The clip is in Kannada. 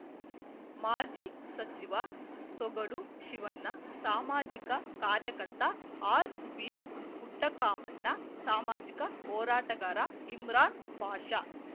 ಮಾಜಿ ಸಚಿವ ಸೊಗಡು ಶಿವಣ್ಣ ಸಾಮಾಜಿಕ ಕಾರ್ಯಕರ್ತ ಆರ್‌ವಿಪುಟ್ಟಕಾಮಣ್ಣ ಸಾಮಾಜಿಕ ಹೋರಾಟಗಾರ ಇಮ್ರಾನ್‌ಪಾಷ